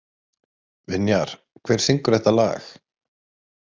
Vinjar, hver syngur þetta lag?